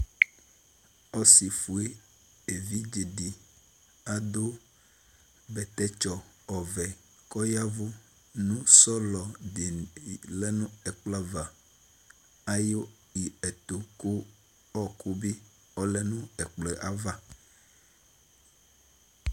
Ɔsi fue evidzedɩ adu bɛtɛtsɔ ɔvɛ kʊ ɔyavu nu sɔlɔ diɛtu nu ɛkplɔava ku ɔku bi lɛnu ɛkplɔɛva